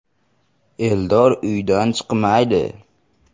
Eldor uydan chiqmaydi.